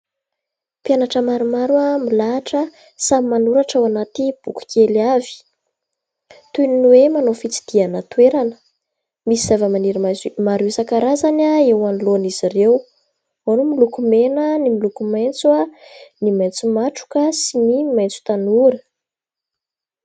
Mpianatra maromaro milahatra, samy manoratra ao anaty boky kely avy. Toy ny hoe manao fitsidihana toerana. Misy zavamaniry maro isan-karazany eo anoloan'izy ireo, ao ny miloko mena, ny miloko maitso, ny maitso matroka sy ny maitso tanora.